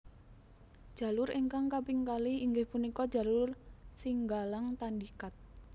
Jalur ingkang kaping kalih inggih punika jalur Singgalang Tandikat